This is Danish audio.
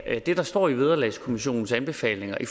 ja det der står i vederlagskommissionens anbefalinger i